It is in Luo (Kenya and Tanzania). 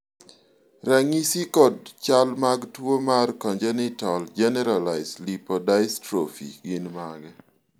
ranyisi kod chal mag tuo mar Congenital generalized lipodystrophy gin mage?